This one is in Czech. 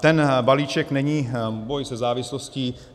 Ten balíček není boj se závislostí.